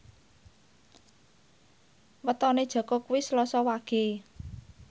wetone Jaka kuwi Selasa Wage